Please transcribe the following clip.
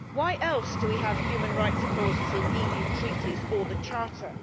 Why else do we have human rights clauses in EU Treaties or the Charter?